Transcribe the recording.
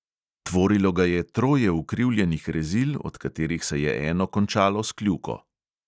Tvorilo ga je troje ukrivljenih rezil, od katerih se je eno končalo s kljuko.